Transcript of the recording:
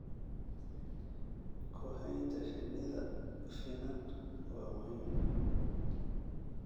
Ku haynta shinnida finan waa muhiim.